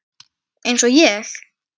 Eins og ég?